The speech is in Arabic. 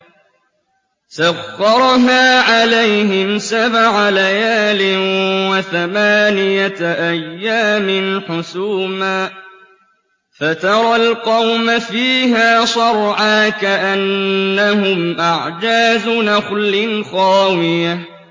سَخَّرَهَا عَلَيْهِمْ سَبْعَ لَيَالٍ وَثَمَانِيَةَ أَيَّامٍ حُسُومًا فَتَرَى الْقَوْمَ فِيهَا صَرْعَىٰ كَأَنَّهُمْ أَعْجَازُ نَخْلٍ خَاوِيَةٍ